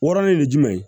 Wɔɔrɔnan ye jumɛn ye